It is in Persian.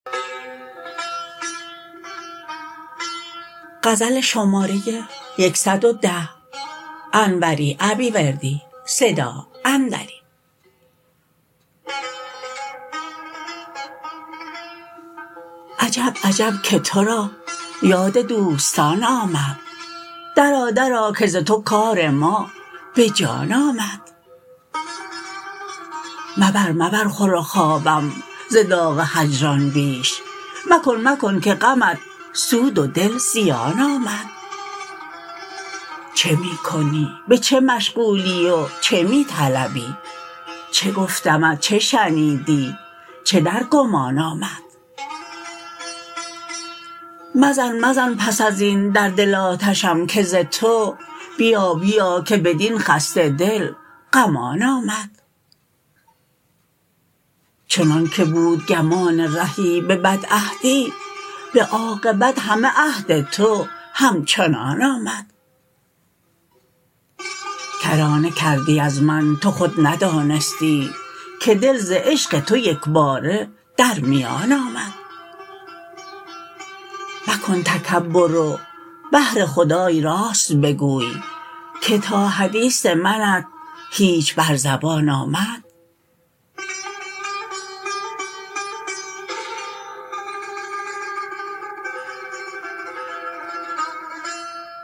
عجب عجب که ترا یاد دوستان آمد درآ درآ که ز تو کار ما به جان آمد مبر مبر خور و خوابم ز داغ هجران بیش مکن مکن که غمت سود و دل زیان آمد چه می کنی به چه مشغولی و چه می طلبی چه گفتمت چه شنیدی چه در گمان آمد مزن مزن پس از این در دل آتشم که ز تو بیا بیا که بدین خسته دل غمان آمد چنان که بود گمان رهی به بدعهدی به عاقبت همه عهد تو همچنان آمد کرانه کردی از من تو خود ندانستی که دل ز عشق تو یکباره در میان آمد مکن تکبر و بهر خدای راست بگوی که تا حدیث منت هیچ بر زبان آمد